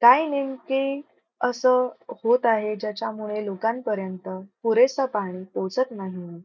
काय नेमके असं होत आहे? ज्याच्यामुळे लोकांपर्यंत पुरेस पाणी पोहोचत नाही.